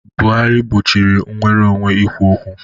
Buhari gbochiri nnwere onwe ikwu okwu.